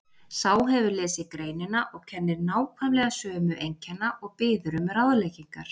Sá hefur lesið greinina og kennir nákvæmlega sömu einkenna og biður um ráðleggingar